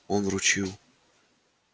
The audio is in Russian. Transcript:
он вручил